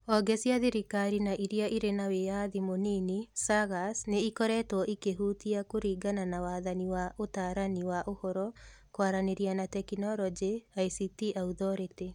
Honge cia thirikari na iria ĩrĩ na wĩyathi mũnini (SAGAs) nĩ ikoretwo ikĩhutia kũringana na Wathani wa Ũtaarani wa Ũhoro, Kwaranĩria na Teknoroji (ICT Athority)